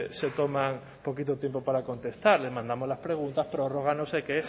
se toman poquito tiempo para contestar les mandamos las preguntas prórroga no sé qué